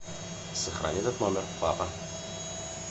сохрани этот номер папа